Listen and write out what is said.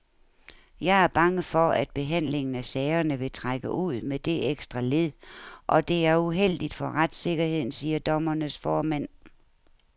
Jeg er bange for, at behandlingen af sagerne vil trække ud med det ekstra led, og det er uheldigt for retssikkerheden, siger dommernes formand.